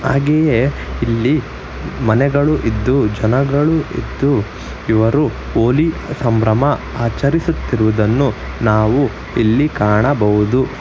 ಹಾಗೆಯೇ ಇಲ್ಲಿ ಮನೆಗಳು ಇದ್ದು ಜನಗಳು ಇದ್ದು ಇವರು ಹೋಲಿ ಸಂಭ್ರಮ ಆಚರಿಸುತ್ತಿರುವುದನ್ನು ನಾವು ಇಲ್ಲಿ ಕಾಣಬಹುದು.